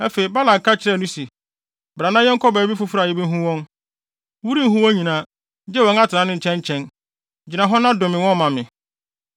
Afei, Balak ka kyerɛɛ no se, “Bra na yɛnkɔ baabi foforo a yebehu wɔn; worenhu wɔn nyinaa, gye wɔn atenae no nkyɛn nkyɛn. Gyina hɔ na dome wɔn ma me.”